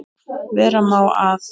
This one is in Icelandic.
Vera má að